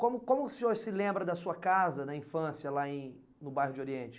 Como como o senhor se lembra da sua casa na infância, lá em no bairro de Oriente?